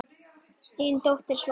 Þín dóttir, Svava María.